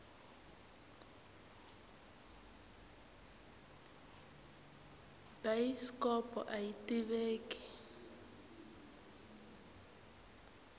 bayisikopo aya tiveki